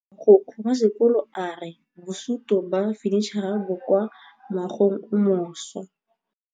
Mogokgo wa sekolo a re bosutô ba fanitšhara bo kwa moagong o mošwa.